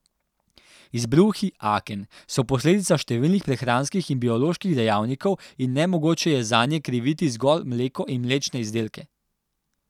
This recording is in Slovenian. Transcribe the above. Izbruhi aken so posledica številnih prehranskih in bioloških dejavnikov in nemogoče je zanje kriviti zgolj mleko in mlečne izdelke.